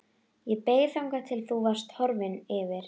Ég beið þangað til þú varst horfinn yfir